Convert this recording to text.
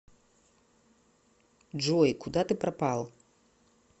джой куда ты пропал